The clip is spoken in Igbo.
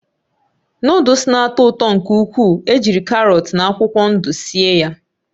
Nụ́dúls na-atọ ụtọ nke ukwuu ejiri karọt na akwụkwọ ndụ síé ya